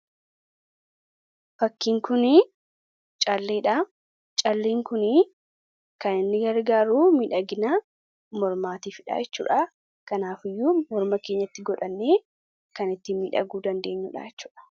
Fakkiin kun calleedha. Calleen kunis kan inni gargaaru miidhagina mormaatiifidha jechuudha. Kanaafuu, morma keenyatti godhachuudhaan kan ittiin miidhaguu dandeenyudha.